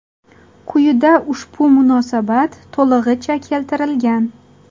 Quyida ushbu munosabat to‘lig‘icha keltirilgan.